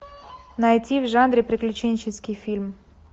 найти в жанре приключенческий фильм